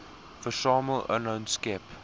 versamel inhoud skep